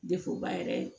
yɛrɛ